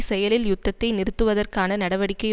செயலில் யுத்தத்தை நிறுத்துவதற்கான நடவடிக்கை